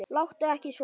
Láttu ekki svona!